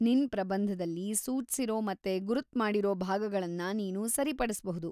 ನಿನ್ ಪ್ರಬಂಧದಲ್ಲಿ ಸೂಚ್ಸಿರೋ ಮತ್ತೆ ಗುರ್ತುಮಾಡಿರೋ ಭಾಗಗಳ್ನ ನೀನು ಸರಿಪಡಿಸ್ಬಹುದು.